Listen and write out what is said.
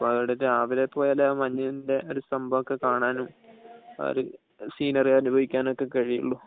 അപ്പോ അവിടെ രാവിലെ പോയാലേ മഞ്ഞിന്റെ ഒരു സംഭവം ഒക്കെ കാണാനും ആ ഒരു സീനെറി അനുഭവിക്കാനും ഒക്കെ കഴിയുള്ളൂ.